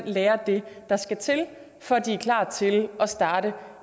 lære det der skal til for at de er klar til at starte